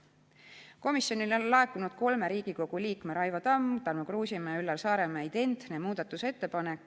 Komisjonile on laekunud kolme Riigikogu liikme – Raivo Tamme, Tarmo Kruusimäe ja Üllar Saaremäe – identne muudatusettepanek.